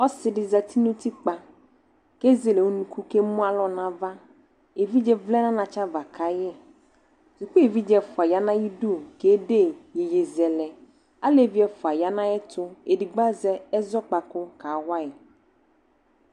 Ɔse de zati no utikpa ke zele unuku kemu alɔ navaEvidze vlɛ na anatsɛ ava kai Suku evidze ɛfua ya na yidu ka kede ye yeyezɛlɛAlevi ɛfua ya na ayeto, edigba azɛ ɛzakpaku kawai